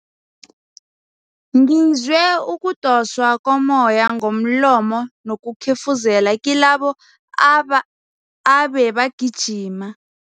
Ngizwe ukudoswa kommoya ngomlomo nokukhefuzela kilabo aba abebagijima.